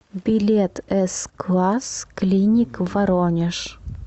билет эс класс клиник воронеж